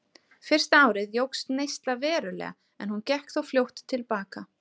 Fyrsta árið jókst neyslan verulega en hún gekk þó fljótt til baka.